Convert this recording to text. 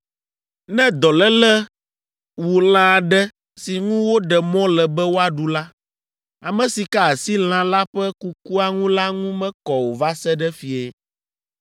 “ ‘Ne dɔléle wu lã aɖe si ŋu woɖe mɔ le be woaɖu la, ame si ka asi lã la ƒe kukua ŋu la ŋu mekɔ o va se ɖe fiẽ.